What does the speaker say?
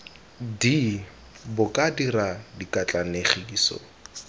d bo ka dira dikatlanegiso